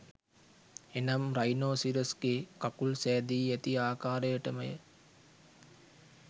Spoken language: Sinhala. එනම් රයිනෝසිරස්ගේ කකුල් සැදී ඇති ආකාරයටමය